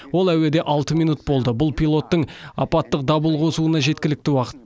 ол әуеде алты минут болды бұл пилоттың апаттық дабыл қосуына жеткілікті уақыт